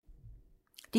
DR2